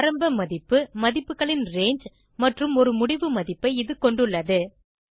ஒரு ஆரம்ப மதிப்பு மதிப்புகளின் ரங்கே மற்றும் ஒரு முடிவு மதிப்பை இது கொண்டுள்ளது